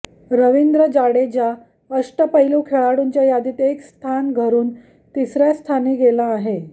रवींद्र जाडेजा अष्टपैलू खेळाडूंच्या यादीत एक स्थान घरून तिसऱ्या स्थानी गेला आहे